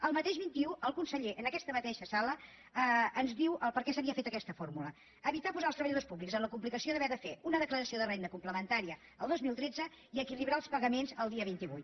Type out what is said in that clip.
el mateix vint un el conseller en aquesta mateixa sala ens diu per què s’havia fet aquesta fórmula evitar posar els treballadors públics en la complicació d’haver de fer una declaració de renda complementària el dos mil tretze i equilibrar els pagaments el dia vint vuit